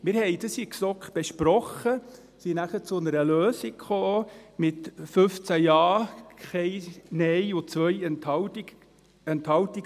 » Wir haben das in der GSoK besprochen und sind nachher zu einer Lösung gekommen, mit 15 Ja, keinem Nein und 2 Enthaltungen.